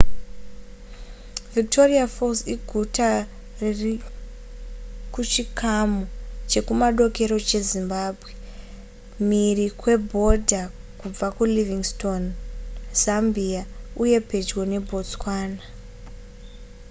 victoria falls iguta riri kuchikamu chekumadokero chezimbabwe mhiri kwebhodha kubva kulivingstone zambia uye pedyo nebotswana